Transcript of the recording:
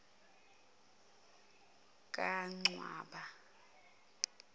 kancwaba